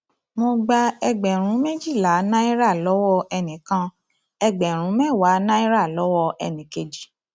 mo gba ẹgbẹrún méjìlá náírà lọwọ ẹnì kan ẹgbẹrún mẹwàá náírà lọwọ ẹnì kejì